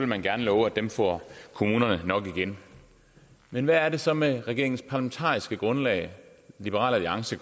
man gerne love at dem får kommunerne nok igen men hvad så med regeringens parlamentariske grundlag liberal alliance